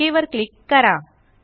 okay वर click करा